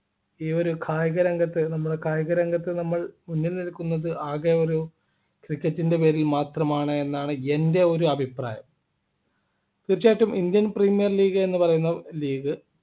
ഈ ഒരു കായിക രംഗത്ത് നമ്മളെ കായിക രംഗത്ത് നമ്മൾ മുന്നിൽ നിൽക്കുന്നത് നമ്മൾ ആകെ ഒരു cricket ൻ്റെ പേരിൽ മാത്രമാണ് എന്നാണ് എൻ്റെ ഒരു അഭിപ്രായം തീർച്ചയായിട്ടും Indian premiere league എന്ന് പറയുന്ന league